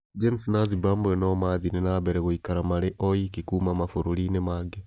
James na Zimbabwe no maathire na mbere gũikara marĩ oiki kuuma mabũrũriinĩ mangĩ